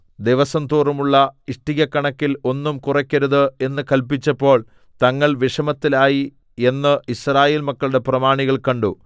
ദിവസംതോറുമുള്ള ഇഷ്ടികക്കണക്കിൽ ഒന്നും കുറയ്ക്കരുത് എന്ന് കല്പിച്ചപ്പോൾ തങ്ങൾ വിഷമത്തിലായി എന്ന് യിസ്രായേൽ മക്കളുടെ പ്രമാണികൾ കണ്ടു